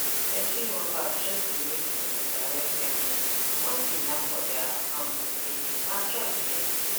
plenty workers just dey wait for direct payment once e land for their account on payday na joy straight